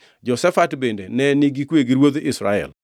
Jehoshafat bende ne nigi kwe gi ruodh Israel.